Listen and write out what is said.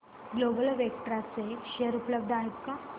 global Vectra चे share उपलब्ध आहेत का